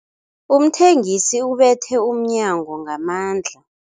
Umthengisi ubethe umnyango ngamandla.